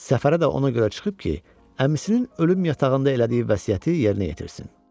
Səfərə də ona görə çıxıb ki, əmisinin ölüm yatağında elədiyi vəsiyyəti yerinə yetirsin.